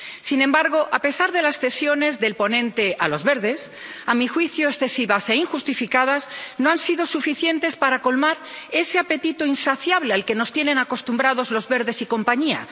Sin embargo, a pesar de las cesiones del ponente a los Verdes —a mi juicio, excesivas e injustificadas—, estas no han sido suficientes para colmar ese apetito insaciable al que nos tienen acostumbrados los Verdes y compañía.